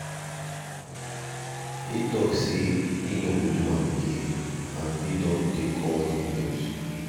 e talk say he no go do am again and e take all the blames.